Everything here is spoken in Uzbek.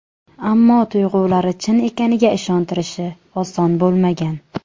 Ammo tuyg‘ulari chin ekaniga ishontirishi oson bo‘lmagan.